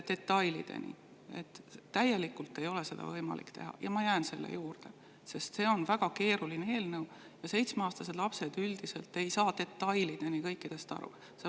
Seda ei ole võimalik teha ja ma jään selle juurde, sest see on väga keeruline eelnõu ja seitsmeaastased lapsed üldiselt ei saa detailideni kõikidest asjadest aru.